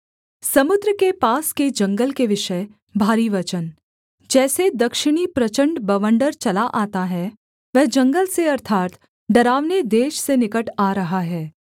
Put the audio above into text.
समुद्र के पास के जंगल के विषय भारी वचन जैसे दक्षिणी प्रचण्ड बवण्डर चला आता है वह जंगल से अर्थात् डरावने देश से निकट आ रहा है